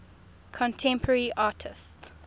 contemporary artists